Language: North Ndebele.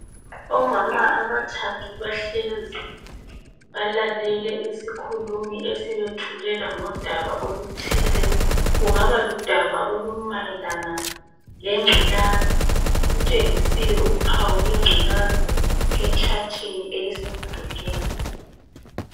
Omama abathathu bahlezi balalele isikhulumi esibethulela ngodaba oluthile, kungaba ludaba olumayelana lengculazi kutshengisiwe uphawu lwengculazi etshathini elisemdulini.